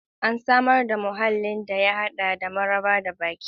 An samar da muhallin da ya hada da maraba da baki.